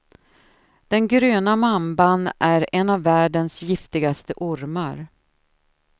Den gröna mamban är en av världens giftigaste ormar.